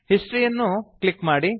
history ಯನ್ನು click ಮಾಡಿ